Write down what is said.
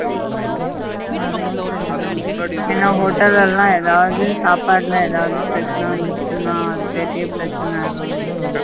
அதுவும் சரி தான் ஏன்னா hotel கள்ள எதாவது சாபட்ல எதாவது பிரச்சின வந்திடுச்சினா பெரிய பிரச்சின ஆயிரும் இல்ல